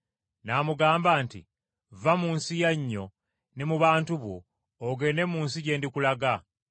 N’amugamba nti, ‘Vva mu nsi yannyo ne mu bantu bo, ogende mu nsi gye ndikulaga.’